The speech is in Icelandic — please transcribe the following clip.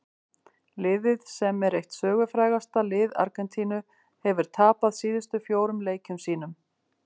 Liðið sem er eitt sögufrægasta lið Argentínu hefur tapað síðustu fjórum leikjum sínum.